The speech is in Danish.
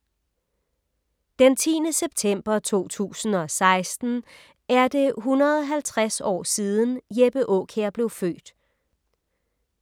Den 10. september 2016 er det 150 år siden Jeppe Aakjær blev født.